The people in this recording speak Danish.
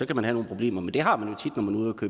kan have nogle problemer men det har man